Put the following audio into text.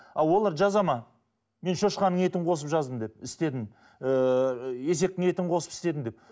ал олар жазады ма мен шошқанын етін қосып жаздым деп істедім ыыы есектің етін қосып істедім деп